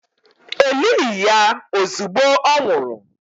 E lighi ya ozugbo ọ nwụrụ